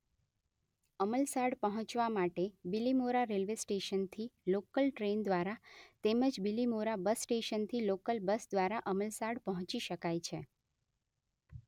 અમલસાડ પહોંચવા માટે બીલીમોરા રેલ્‍વે સ્શટેનથી લોકલ ટ્રેન દ્વારા તેમજ બીલીમોરા બસ સ્‍ટેશનથી લોકલ બસ દ્વારા અમલસાડ પહોંચી શકાય છે.